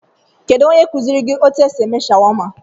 Kedụ ónyé nyere kuziri gị etu esị eme shawama?